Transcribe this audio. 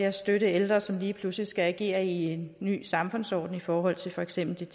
at støtte ældre som lige pludselig skal agere i en ny samfundsorden i forhold til for eksempel